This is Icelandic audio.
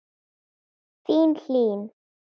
Þín, Hlín.